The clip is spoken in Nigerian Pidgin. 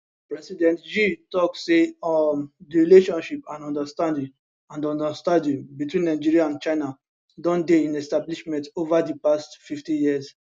president xi tok say um di relationship and understanding and understanding between nigeria and china don dey in establishment ova di past 50 years